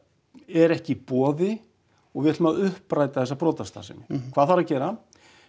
er ekki í boði og við ætlum að uppræta þessa brotastarfsemi hvað þarf að gera